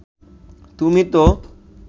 তুমি তো